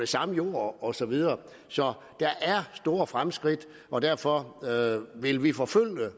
samme jord og så videre så der er store fremskridt og derfor vil vi forfølge